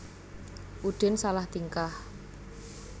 Udin salah tingkah